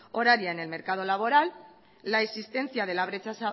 horaria en el mercado laboral la existencia de la brecha